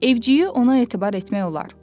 Evciyi ona etibar etmək olar.